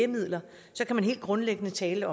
forhold til at